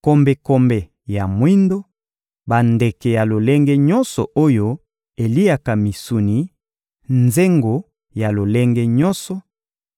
kombekombe ya mwindo, bandeke ya lolenge nyonso oyo eliaka misuni, nzengo ya lolenge nyonso,